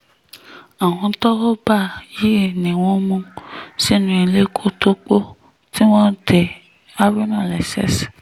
àwọn tọ́wọ́ bá yìí ni wọ́n mú wọn lọ sínú ilé kótópó tí wọ́n dé haruna lọ́wọ́ lẹ́sẹ̀ sí